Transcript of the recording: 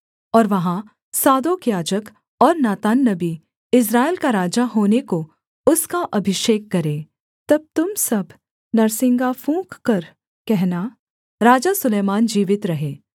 और वहाँ सादोक याजक और नातान नबी इस्राएल का राजा होने को उसका अभिषेक करें तब तुम सब नरसिंगा फूँककर कहना राजा सुलैमान जीवित रहे